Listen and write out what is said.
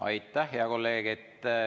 Aitäh, hea kolleeg!